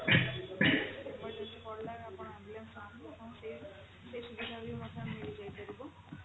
କିଛି ଗୋଟେ emergency ପଡିଲା ଆପଣଙ୍କର ambulance ନାହିଁ ଆପଣ ସେ ସୁବିଧା ମଧ୍ୟ ବି ମିଳିଯାଇପାରିବ